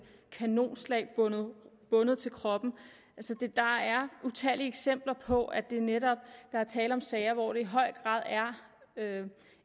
kanonslag bundet bundet til kroppen der er utallige eksempler på at der netop er tale om sager hvor der i høj grad